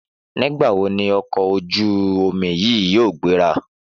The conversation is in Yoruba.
Nígbà wo ni ọkọ̀ ojú-omi yìí yóò gbéra?